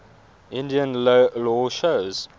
indian law shows